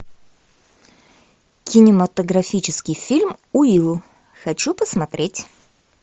кинематографический фильм уилл хочу посмотреть